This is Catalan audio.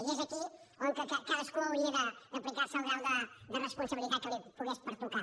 i és aquí on cadascú hauria d’aplicar se el grau de responsabilitat que li pogués pertocar